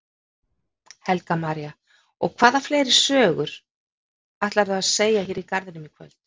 Helga María: Og hvaða fleiri sögur ætlarðu að segja hérna í garðinum í kvöld?